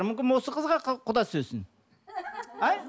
мүмкін осы қызға құда түсесің а